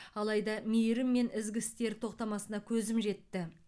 алайда мейірім мен ізгі істер тоқтамасына көзім жетті